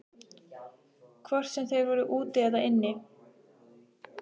Hvort sem þeir voru úti eða inni.